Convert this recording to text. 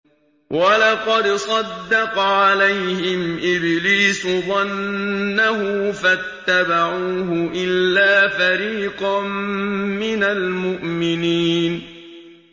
وَلَقَدْ صَدَّقَ عَلَيْهِمْ إِبْلِيسُ ظَنَّهُ فَاتَّبَعُوهُ إِلَّا فَرِيقًا مِّنَ الْمُؤْمِنِينَ